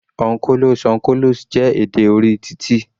On colos, on colos, jẹ́ èdè orí titi.